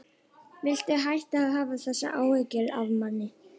Viltu hætta að hafa þessar áhyggjur af manni!